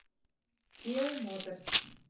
киа моторс